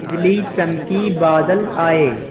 बिजली चमकी बादल आए